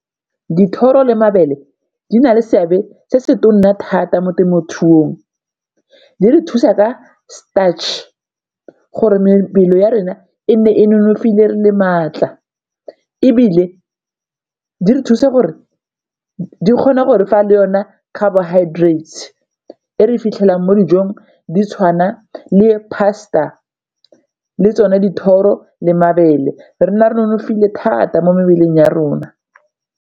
Dithoro le mabele di na le seabe se se tona thata mo temothuong di re thusa ka starch gore mebele ya rona e nne e nonofile re le maatla, ebile di re thusa gore di kgona gore fa le yona carbohydrates e re fitlhelang mo dijong di tshwana le pasta le tsone dithoro le mabele re nne re nonofile thata mo mebeleng ya rona.